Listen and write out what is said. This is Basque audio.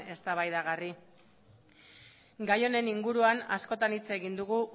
eztabaidagarri gai honen inguruan askotan hitz egin dugu